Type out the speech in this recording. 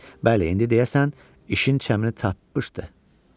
Bəli, indi deyəsən işin cəmini tapmışdı.